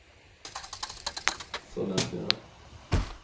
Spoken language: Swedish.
Sollentuna